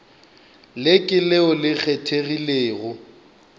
le ke leo le kgethegilego